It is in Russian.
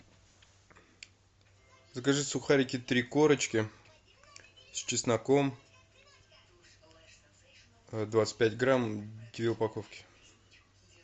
закажи сухарики три корочки с чесноком двадцать пять грамм две упаковки